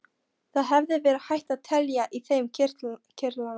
Það hefði verið hægt að telja í þeim kirtlana.